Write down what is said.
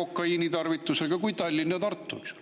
kokaiinitarvitus suurem kui Tallinnas ja Tartus.